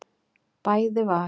Bæði var